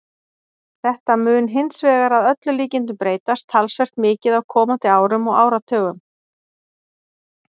Þetta mun hins vegar að öllum líkindum breytast talsvert mikið á komandi árum og áratugum.